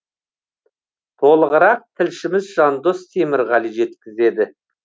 толығырақ тілшіміз жандос темірғали жеткізеді